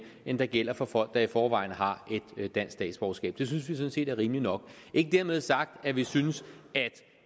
end der gælder for folk der i forvejen har et dansk statsborgerskab det synes vi sådan set er rimeligt nok ikke dermed sagt at vi synes